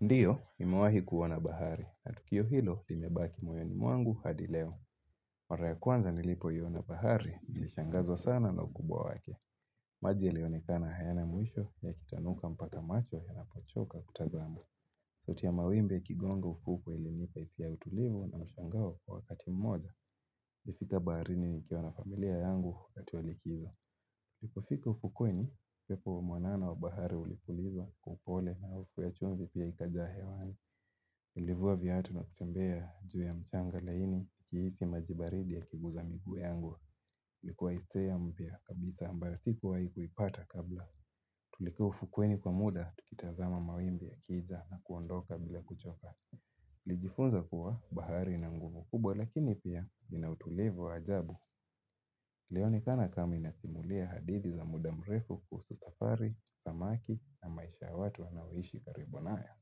Ndiyo, nimewahi kuona bahari, na tukio hilo limebaki moyoni mwangu hadi leo. Mara ya kwanza nilipoiona bahari, nilishangazwa sana na ukubwa wake. Maji yalionikana hayana mwisho ya kita nuka mpaka macho ya napochoka kutazama. Sauti ya mawimbe yakigongo ufuku ilimipa hisia utulivu na mshangao kwa wakati mmoja. Ilifika baharini nikiwa na familia yangu wakati wa likizo. Nilipofika ufukweni, pepo mwanana wa bahari ulipulizwa kwa upole na harufu ya chumvi pia ikajaa hewani. Nliivua viatu na kutembea juu ya mchanga laini nikihisi majibaridi ya kiguza miguu yangu. Ilikuwa hisia mpya kabisa ambayo sikuwai kuipata kabla. Tulikaa ufukweni kwa muda tukitazama mawimbi ya kija na kuondoka bila kuchoka. Nilijifunza kuwa bahari na nguvu kubwa lakini pia inautulivu wa ajabu. Ilionekana kama inasimulia hadithi za muda mrefu kuhusu safari, samaki na maisha watu wanaoishi karibu nayo.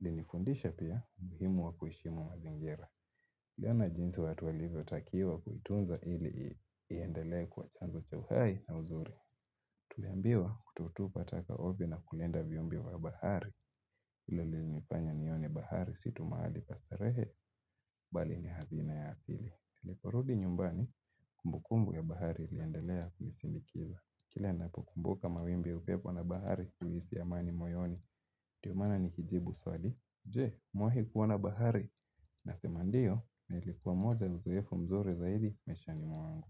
Ilinifundisha pia muhimu wa kuheshimu mazingira niliona jinsi watu walivyo takiwa kuitunza ili iendelee kuwa chanzo cha uhai na uzuri Tuliambiwa kutotupa taka ovyo na kulinda viombi wa bahari hilo lilinifanya nione bahari situ mahali pa starehe bali ni hazina ya asili tuliporudi nyumbani kumbukumbu ya bahari iliendelea kunisindikiza Kila ninapo kumbuka mawimbi ya upepo na bahari huisi amani moyoni ndio maana nikijibu swali Je, umewahi kuona bahari na sema ndiyo, nliikuwa moja uzoefu mzuri zaidi maisha ni mwangu.